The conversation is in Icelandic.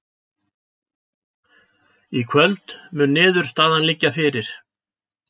Í kvöld mun niðurstaðan liggja fyrir